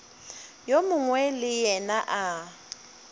yo mongwe le yena a